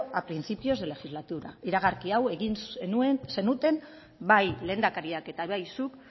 al principios de legislatura iragarki hau egin zenuten bai lehendakariak eta bai zuk